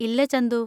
ഇല്ല, ചന്തു.